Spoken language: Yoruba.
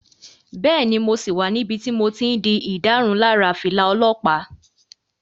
Bẹ́ẹ̀ni, mo sì wà níbi tí mo ti n di ìdárunlárà fìlà olọ́pàá